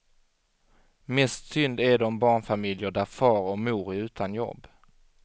Mest synd är det om barnfamiljer där far och mor är utan jobb.